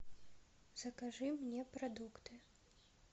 закажи мне продукты